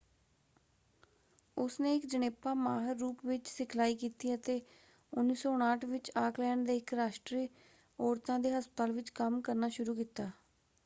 ਉਸਨੇ ਇਕ ਜਣੇਪਾ ਮਾਹਰ ਰੂਪ ਵਿੱਚ ਸਿਖਲਾਈ ਕੀਤੀ ਅਤੇ 1959 ਵਿੱਚ ਆੱਕਲੈਂਡ ਦੇ ਇਕ ਰਾਸ਼ਟਰੀ ਔਰਤਾਂ ਦੇ ਹਸਪਤਾਲ ਵਿੱਚ ਕੰਮ ਕਰਨਾ ਸ਼ੁਰੂ ਕੀਤਾ।